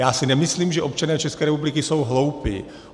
Já si nemyslím, že občané České republiky jsou hloupí.